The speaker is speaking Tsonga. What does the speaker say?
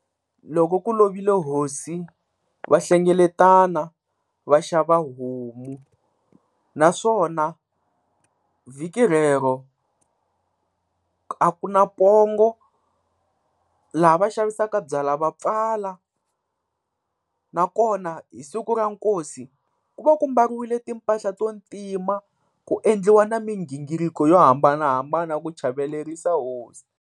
Loko ku lovile hosi va hlengeletana va xava homu, naswona vhiki rero a ku na pongo, laha va xavisaka byalwa va pfala nakona hi siku ra nkosi ku va ku mbariwile timpahla to ntima ku endliwa na migingiriko yo hambanahambana ku chavelerisa hosi.